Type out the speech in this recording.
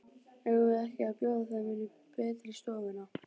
Eigum við ekki að bjóða þeim inn í betri stofuna?